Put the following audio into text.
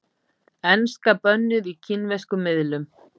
Enska bönnuð í kínverskum miðlum